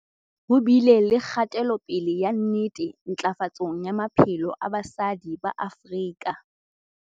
Ho bile le kgatelopele ya nnete ntlafatsong ya maphelo a basadi ba Afrika